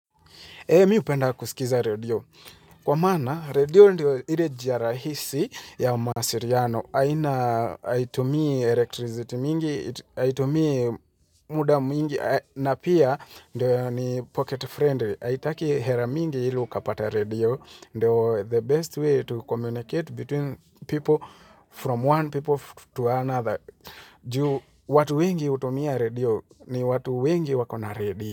Mi hupenda kusikiza radio. Kwa maana radio ndio ile njia rahisi ya mawasiliano. Aina haitumii electricity mingi, haitumii muda mwingi, na pia ndio ni pocket friendly. Haitaki hela mingi ili ukapata radio. Ndio the best way to communicate between people from one people to another. Juu watu wengi hutumia radio ni watu wengi wako na radio.